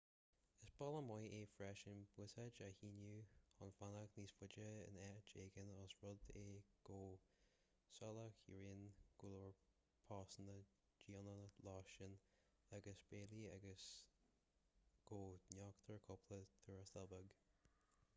is bealach maith é freisin buiséad a shíneadh chun fanacht níos faide in áit éigin ós rud é go soláthraíonn go leor postanna deonacha lóistín agus béilí agus go n-íoctar cúpla tuarastal beag